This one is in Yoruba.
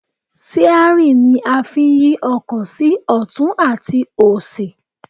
Síárì ni a fí ń yí ọkọ̀ sí ọ̀tún àti òsì